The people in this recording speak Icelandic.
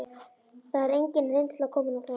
Það er engin reynsla komin á það.